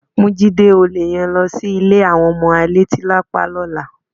Mú Jídé olè yẹn lọ sí ilé àwọn ọmọ alétílápá lọ́la.